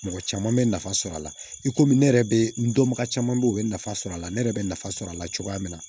Mɔgɔ caman bɛ nafa sɔrɔ a la i komi ne yɛrɛ bɛ n dɔnbaga caman bɛ yen u bɛ nafa sɔr'a la ne yɛrɛ bɛ nafa sɔrɔ a la cogoya min na